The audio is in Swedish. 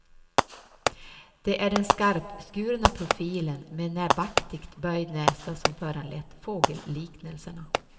Det är den skarpskurna profilen med näbbaktigt böjd näsa som föranlett fågelliknelserna.